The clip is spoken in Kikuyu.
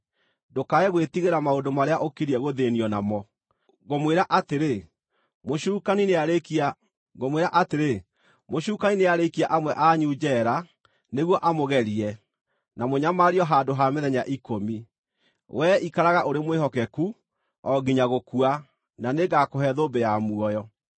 Ndũkae gwĩtigĩra maũndũ marĩa ũkiriĩ gũthĩĩnio namo. Ngũmwĩra atĩrĩ, mũcukani nĩarĩikia amwe anyu njeera nĩguo amũgerie, na mũnyamario handũ ha mĩthenya ikũmi. Wee ikaraga ũrĩ mwĩhokeku, o nginya gũkua, na nĩngũkũhe thũmbĩ ya muoyo.